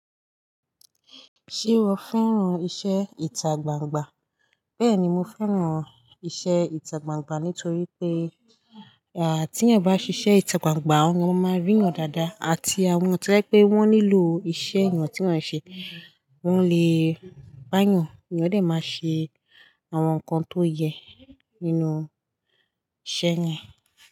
Ṣé o fẹ́ràn iṣẹ́ ìta gbangba? Bẹ́ẹ̀ni, mo fẹ́ràn iṣẹ́ ìta gbangba nítorí pé, à tí èyàn bá ṣiṣẹ́ ìta gbangba, wọ́n máa ríyàn dáadáa àti àwọn tó jẹ́ pé wọ́n nílò iṣẹ́ ìyàn tí yàn ń ṣe, wọ́n lè wá a yàn. Èyàn dẹ̀ máa ṣe àwọn nǹkan tó yẹ nínú iṣẹ́ yẹn.